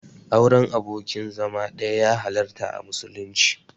Auren abokin zama ɗaya ya halarta a musulunci.